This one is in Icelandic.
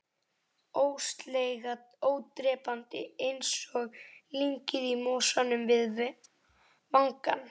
Ólseiga, ódrepandi, einsog lyngið í mosanum við vangann.